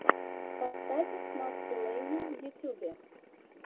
поставь максима лэйна в ютьюбе